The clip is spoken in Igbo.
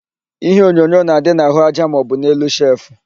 Iheonyonyo na-adị n'àhụ́aja maọbụ n'elu shelfụ.